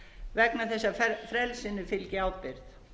vegna þess að frelsinu fylgi ábyrgð